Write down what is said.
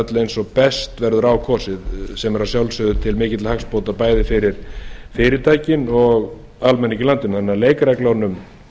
öll eins og best verður á kosið sem er að sjálfsögðu til mikilla hagsbóta bæði fyrir fyrirtækin og almenning í landinu þannig að leikreglunum